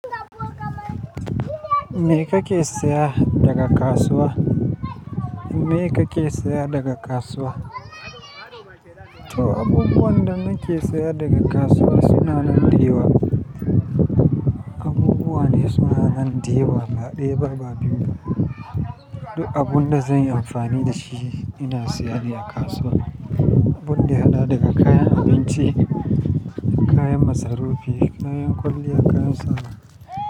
Me kake saya daga kasuwa? Me kake saya daga kasuwa? To abubuwan da nake saya daga kasuwa suna nan dayawa. Abubuwa ne suna nan dayawa, ba ɗaya ba, ba biyu ba. Duk abun da zan yi amfani da shi ina saya ne a kasuwa, abun da ya haɗa daga kayan abinci, kayan masarufi, kayan kwalliya, kayan sawa.